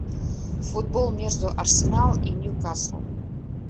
футбол между арсенал и ньюкасл